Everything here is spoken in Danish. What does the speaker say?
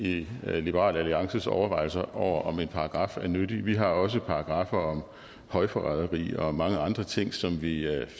i liberal alliances overvejelser over om en paragraf er nyttig vi har også paragraffer om højforræderi og mange andre ting som vi